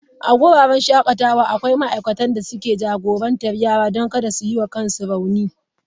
A wuraren shakatawa akwai ma'aikatan da ke jagorantar yaran don kada su yi wa kansu rauni.